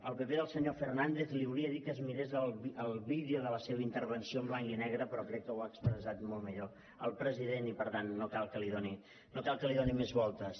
al pp al senyor fernández li volia dir que es mirés el vídeo de la seva intervenció en blanc i negre però crec que ho ha expressat molt millor el president i per tant no cal que hi doni més voltes